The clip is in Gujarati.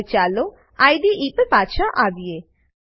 હવે ચાલો આઇડીઇ પર પાછા આવીએ